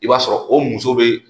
I b'a sɔrɔ o muso be